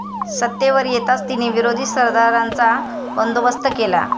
सत्तेवर येताच तिने विरोधी सरदारांचा बंदोबस्त केला.